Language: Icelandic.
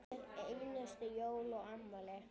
Hver einustu jól og afmæli.